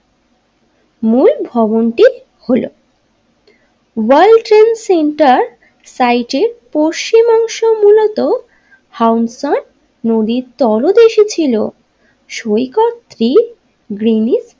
মূল ভবন টি হল ওয়ার্ল্ড ট্রেড সেন্টার সাইটের পশ্চিম অংশ মূলত হামশান নদীর তলদেশে ছিল সৈকত ফ্রি গ্রিনি।